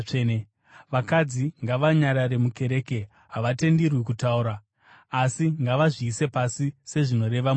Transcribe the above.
vakadzi ngavanyarare mukereke. Havatenderwi kutaura asi ngavazviise pasi sezvinoreva murayiro.